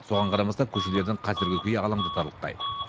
соған қарамастан көшелердің қазіргі күйі алаңдатарлықтай